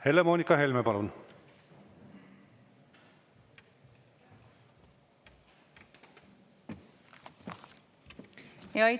Helle-Moonika Helme, palun!